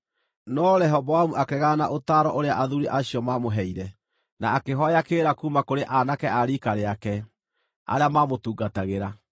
No Rehoboamu akĩregana na ũtaaro ũrĩa athuuri acio maamũheire, na akĩhooya kĩrĩra kuuma kũrĩ aanake a riika rĩake, arĩa maamũtungatagĩra.